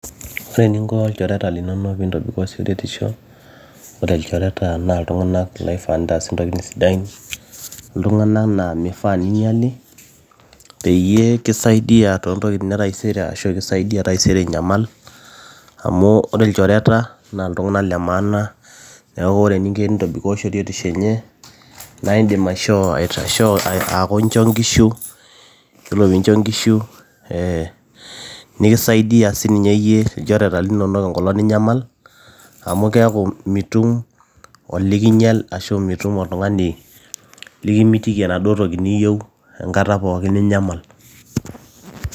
ore eninko ilchoreta linonok pintobikoo shoruetisho ore ilchoreta naa iltung'anak loifaa nintaas intokitin sidain iltung'anak naa mifaa ninyiali peyie kisaidia toontokitin etaisere ashu kisaidia taisere inyamal amu ore ilchoreta naa iltung'anak le maana neeku ore eninko tenintobiko shoruetisho enye naaindim aishoo aaku incho inkishu yiolo piincho inkishu eh, nikisaidia sininye yie ilchoreta linonok enkolong ninyamal amu keeku mitum olikinyial ashu mitum oltung'ani likimitiki enaduo toki niyieu enkata pookin ninyamal.